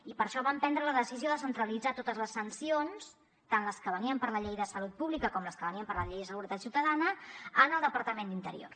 i per això vam prendre la decisió de centralitzar totes les sancions tant les que venien per la llei de salut pública com les que venien per la llei de seguretat ciutadana en el departament d’interior